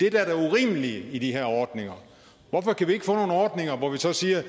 er det urimelige i de her ordninger hvorfor kan vi ikke få nogle ordninger hvor vi så siger